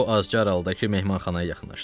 O az sonra qaldığı mehmanxanaya yaxınlaşdı.